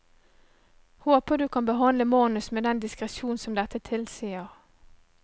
Håper du kan behandle manus med den diskresjon som dette tilsier.